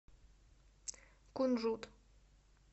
кунжут